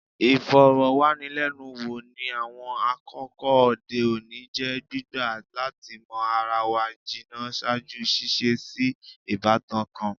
Ifọrọwanilẹnuwo, ni awọn akoko ode oni, jẹ gbigba lati mọ ara wa jinna ṣaaju ṣiṣe si ibatan kan